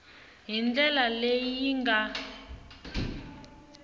hi ndlela leyi yi nga